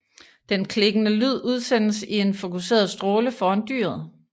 Den klikkende lyd udsendes i en fokuseret stråle foran dyret